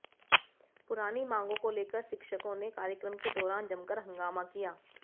पुरानी मांगों को लेकर शिक्षकों ने कार्यक्रम के दौरान जमकर हंगामा किया